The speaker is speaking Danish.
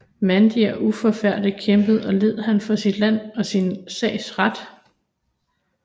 Mandig og uforfærdet kæmpede og led han for sit lands og sin sags ret